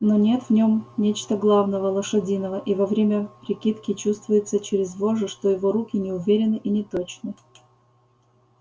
но нет в нем чего-то главного лошадиного и во время прикидки чувствуется через вожжи что его руки неуверенны и неточны